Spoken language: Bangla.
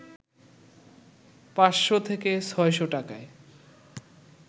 ৫শ’ থেকে ৬শ’ টাকায়